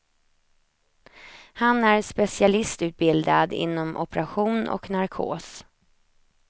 Han är specialistutbildad inom operation och narkos.